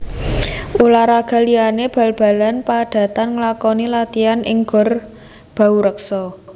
Ulah raga liyane bal balan padatan nglakoni latian ing Gor Bahurekso